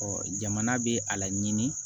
jamana bɛ a laɲini